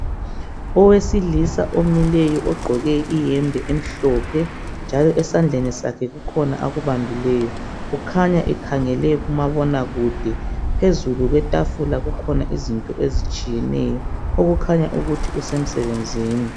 Owesilisa omileyo ogqoke iyembe emhlophe njalo esandleni sakhe kukhona akubambileyo kukhanya ikhangele kumabonakude phezulu kwetafula kukhona izinto ezitshiyeneyo okukhanya ukuthi kusemsebenzini